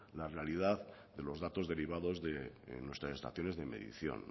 la realidad de los datos derivados de nuestras estaciones de medición